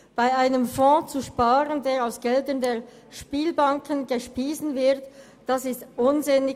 Bei einem Fonds zu sparen, der aus Geldern der Spielbanken gespeist wird, ist unsinnig.